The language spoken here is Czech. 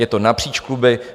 Je to napříč kluby.